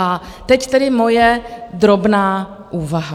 A teď tedy moje drobná úvaha.